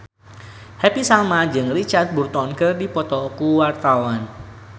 Happy Salma jeung Richard Burton keur dipoto ku wartawan